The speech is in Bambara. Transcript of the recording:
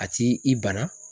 A ti i bana.